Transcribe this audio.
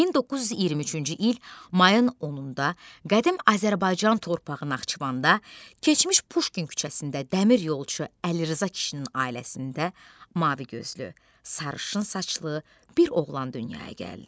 1923-cü il mayın 10-da qədim Azərbaycan torpağı Naxçıvanda, keçmiş Puşkin küçəsində dəmir yolçu Əlirza kişinin ailəsində mavi gözlü, sarışın saçlı bir oğlan dünyaya gəldi.